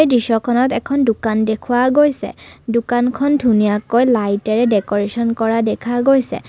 দৃশ্যখনত এখন দোকান দেখুওৱা গৈছে দোকানখন ধুনীয়াকৈ লাইটেৰে ডেকোৰেচন কৰা দেখা গৈছে।